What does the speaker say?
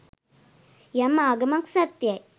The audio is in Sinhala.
යම් ආගමක් සත්‍යයි